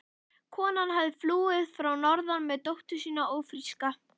Konan hafði flúið að norðan með dóttur sína ófríska.